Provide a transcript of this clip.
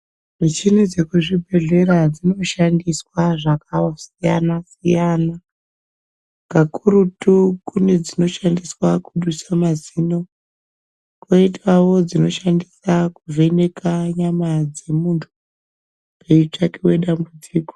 Muchini dzekuzvibhedhlera dzinoshandiswe zvakasiyana siyana kakurutu kune dzinoshandiswa kudusa mazino, koitawo dzinoshandiswa kuvheneka nyama dzemunthu peitsvakiwe dambudziko.